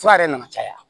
Fura yɛrɛ nana caya